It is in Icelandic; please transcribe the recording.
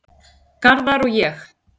Garðar og ég